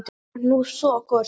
Þú ert nú svo góður strákur.